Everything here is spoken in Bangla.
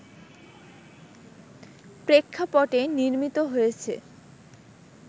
প্রেক্ষাপটে নির্মিত হয়েছে